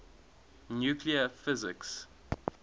nuclear physics